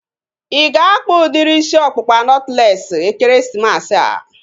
Ị ga-akpa udiri isi ọkpụkpa nọtlees ekeresimesi a?